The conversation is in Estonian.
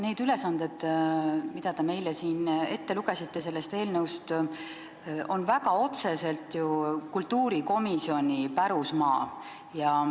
Need ülesanded, mida te meile siin sellest eelnõust ette lugesite, on väga otseselt kultuurikomisjoni pärusmaa.